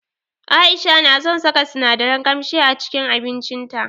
Aisha na son saka sinadaran kamshi a cikin abincin ta.